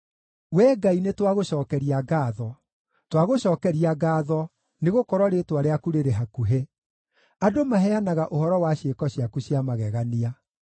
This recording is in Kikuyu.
Wee Ngai, nĩtwagũcookeria ngaatho, twagũcookeria ngaatho, nĩgũkorwo Rĩĩtwa rĩaku rĩrĩ hakuhĩ; andũ maheanaga ũhoro wa ciĩko ciaku cia magegania.